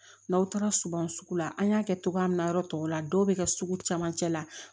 N'aw taara suguban sugu la an y'a kɛ cogoya min na yɔrɔ tɔw la dɔw bɛ kɛ sugu camancɛ la